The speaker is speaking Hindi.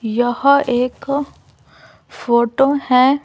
यह एक फोटो है।